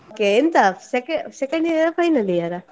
ಕೇಂತ seco~ second year ಆ final year ಆ?